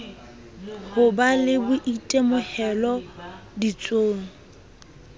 ho ba le boitemohelo ditsong